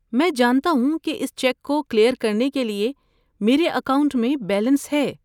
میں جانتا ہوں کہ اس چیک کو کلیئر کرنے کے لیے میرے اکاؤنٹ میں بیلنس ہے۔